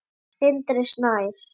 Sindri Snær